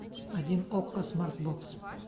один окко смартбокс